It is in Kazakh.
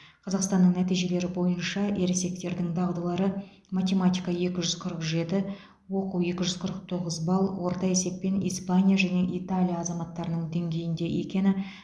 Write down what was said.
қазақстанның нәтижелері бойынша ересектердің дағдылары математика екі жүз қырық жеті оқу екі жүз қырық тоғыз балл орта есеппен испания және италия азаматтарының деңгейінде екені